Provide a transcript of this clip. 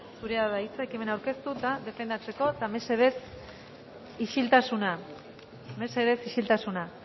zurea da hitza ekimena aurkeztu eta defendatzeko eta mesedez isiltasuna mesedez isiltasuna